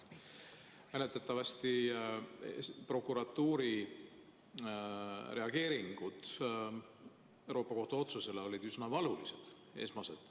Mäletatavasti prokuratuuri esmased reageeringud Euroopa Liidu Kohtu otsusele olid üsna valulised.